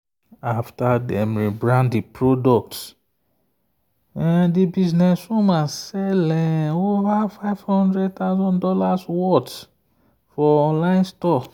after dem rebrand the product the businesswoman sell over fifty thousand dollars0 worth for online store.